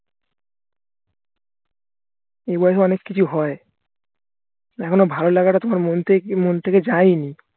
এই বয়সে অনেক কিছু হয় দেখোনা ভালো লাগাটা তোমার মন মন থেকে যায়নি